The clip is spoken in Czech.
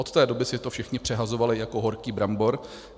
Od té doby si to všichni přehazovali jako horký brambor.